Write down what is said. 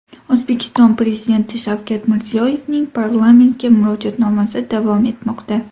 O‘zbekiston Prezidenti Shavkat Mirziyoyevning parlamentga Murojaatnomasi davom etmoqda.